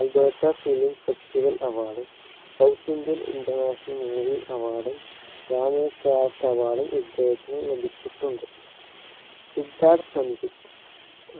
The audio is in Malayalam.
alberta film festival award ഉം south indian international movie award ഉം award ഉം ഇദ്ദേഹത്തിന് ലഭിച്ചിട്ടുണ്ട സിദ്ധാർഥ് സഞ്ജിത്